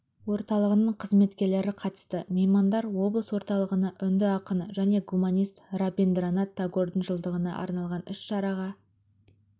орталығының қызметкерлері қатысты меймандар облыс орталығына үнді ақыны және гуманист рабиндранат тагордың жылдығына арналған іс-шараға